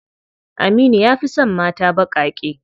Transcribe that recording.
Aminu ya fi son mata baƙaƙe.